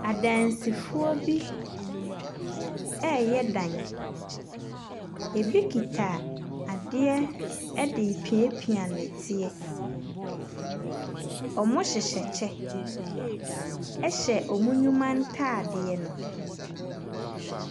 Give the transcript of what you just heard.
Adansifoɔ bi reyɛ dan. Ɛbi kita adeɛ de repiapia nnɛteɛ. Wɔhyehyɛ kyɛ, hyɛ wɔn nnwuma ntadeɛ no.